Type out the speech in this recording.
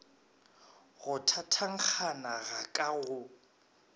go thathankgana ga ka go